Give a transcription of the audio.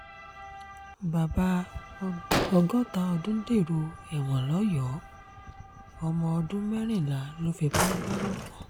bàbá ọgọ́ta ọdún dèrò ẹ̀wọ̀n lọ́yọ̀ọ́ ọmọọdún mẹ́rìnlá ló fipá bá lò pọ̀